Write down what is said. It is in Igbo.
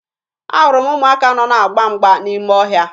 Ahụrụ m ụmụaka nọ na-agba mgba n'ime ọhịa